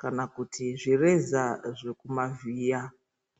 kana kuti zvireza kumavhiya.